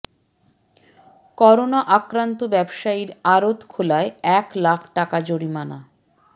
corona আক্রান্ত ব্যবসায়ীর আড়ত খোলায় এক লাখ টাকা জরিমানা